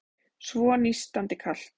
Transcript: Svo nístandi kalt.